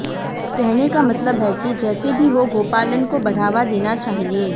कहने का मतलब है कि जैसे भी हो गौपालन को बढ़ावा देना चाहिए